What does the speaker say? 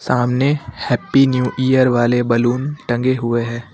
सामने happy new year वाले balloon टंगे हुए हैं।